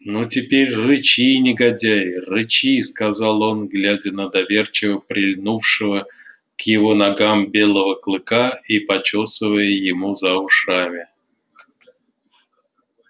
ну теперь рычи негодяй рычи сказал он глядя на доверчиво прильнувшего к его ногам белого клыка и почёсывая ему за ушами